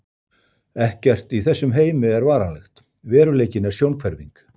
Ekkert í þessum heimi er varanlegt, veruleikinn er sjónhverfing.